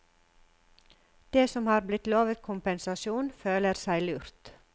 De som har blitt lovet kompensasjon, føler seg lurt.